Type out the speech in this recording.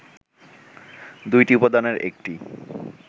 দুইটি উপাদানের একটি